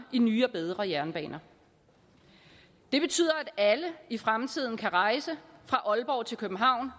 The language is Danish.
i nye og bedre jernbaner det betyder at alle i fremtiden kan rejse